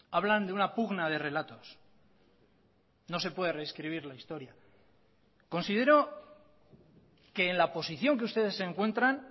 hablan de una pugna de relatos no se puede rescribir la historia considero que en la posición que ustedes se encuentran